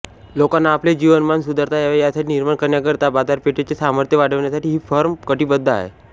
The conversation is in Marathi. लोकांना आपले जीवनमान सुधारता यावे यासाठी निर्माण करण्याकरिता बाजारपेठेचं सामर्थ्य वाढवण्यासाठी ही फर्म कटिबद्ध आहे